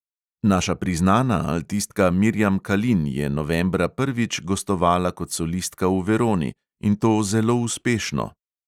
Naša priznana altistka mirjam kalin je novembra prvič gostovala kot solistka v veroni, in to zelo uspešno.